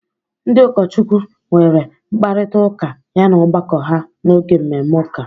Ndị ụkọchukwu nwere mkparịta ụka yana ọgbakọ ha n'oge mmemme ụka.